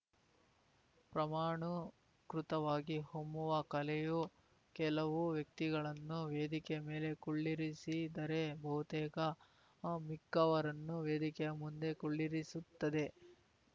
ಪ್ರಮಾಣುಕೃತವಾಗಿ ಹೊಮ್ಮುವ ಕಲೆಯು ಕೆಲವು ವ್ಯಕ್ತಿಗಳನ್ನು ವೇದಿಕೆಯ ಮೇಲೆ ಕುಳ್ಳಿರಿಸಿದರೆ ಬಹುತೇಕ ಮಿಕ್ಕವರನ್ನು ವೇದಿಕೆಯ ಮುಂದೆ ಕುಳ್ಳಿರಿಸುತ್ತದೆ